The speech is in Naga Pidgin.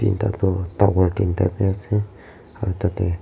dangor tinta bi ase aro tate.